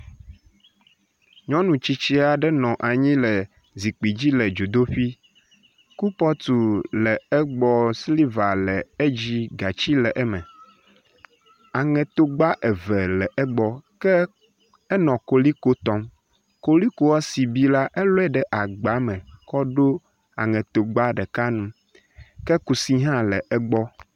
nyɔnu tsitsiaɖe nɔ anyi le zikpidzi dzodoƒi kupɔtu le egbɔ sliva le edzi gatsi le eme eŋeto gba eve le egbɔ ke enɔ koliko tɔm kolikoa si bi la éloe ɖe agbame kɔɖo aŋeto gba ɖeka nu ke kusi hã le egbɔ